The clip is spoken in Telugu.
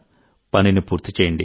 పనిని పూర్తి చేయండి